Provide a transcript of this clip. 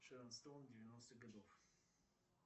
шерон стоун девяностых годов